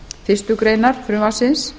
fyrstu grein frumvarpsins